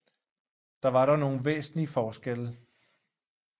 Der var dog nogle væsentlige forskelle